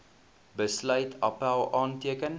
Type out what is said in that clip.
besluit appèl aanteken